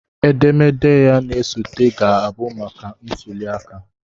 Edemede ya na-esote ga-abụ maka ntuliaka